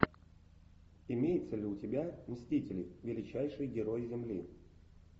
имеется ли у тебя мстители величайшие герои земли